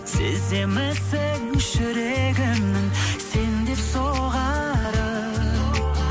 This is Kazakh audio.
сеземісің жүрегімнің сен деп соғарын